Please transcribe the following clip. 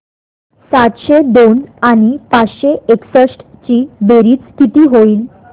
सातशे दोन आणि पाचशे एकसष्ट ची बेरीज किती होईल